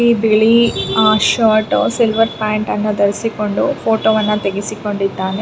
ಈ ಬಿಳಿ shirt silver pant ಅನ್ನು ಧರಿಸಿಕೊಂಡು ಫೋಟೋ ವನ್ನು ತೆಗೆಸಿಕೊಂಡಿದ್ದಾನೆ.